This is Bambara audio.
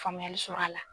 Faamuyali sɔrɔ a la